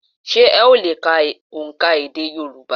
Sé ó le è ka òǹkà èdè Yorùbá?